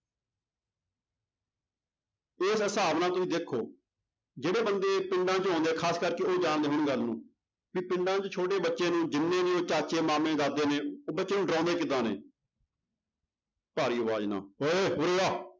ਇਸ ਹਿਸਾਬ ਨਾਲ ਤੁਸੀਂ ਦੇਖੋ ਜਿਹੜੇ ਬੰਦੇ ਪਿੰਡਾਂ ਚੋਂ ਆਉਂਦੇ ਆ ਖ਼ਾਸ ਕਰਕੇ ਉਹ ਜਾਣਦੇ ਹੋਣ ਗੱਲ ਨੂੰ, ਵੀ ਪਿੰਡਾਂ 'ਚ ਛੋਟੇੇ ਬੱਚੇ ਨੂੰ ਜਿੰਨੇ ਵੀ ਚਾਚੇ ਮਾਮੇ ਦਾਦੇ ਨੇ ਉਹ ਬੱਚੇ ਨੂੰ ਡਰਾਉਂਦੇ ਕਿੱਦਾਂ ਨੇ ਭਾਰੀ ਆਵਾਜ਼ ਨਾਲ ਉਏ ਉਰੇ ਆ